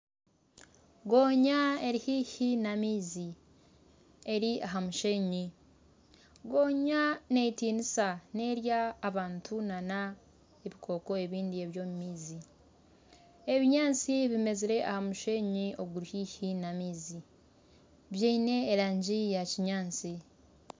Gonya eri haihi n'amaizi eri aha mushenyi, gonya neetinisa nerya abantu n'ebikooko ebindi eby'omu maizi. Ebinyaatsi bimeezire aha mushenyi oguri haihi n'amaizi byine erangi ya kinyaatsi.